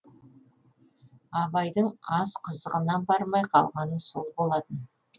абайдың ас қызығына бармай қалғаны сол болатын